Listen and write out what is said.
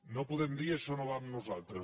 no podem dir això no va amb nosaltres